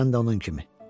Sən də onun kimi.